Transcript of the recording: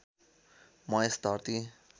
म यस धर्ती